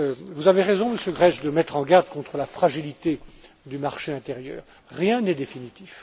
Vous avez raison, Monsieur Grech, de mettre en garde contre la fragilité du marché intérieur, rien n'est définitif.